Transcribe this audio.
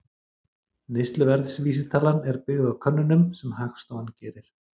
Neysluverðsvísitalan er byggð á könnunum sem Hagstofan gerir.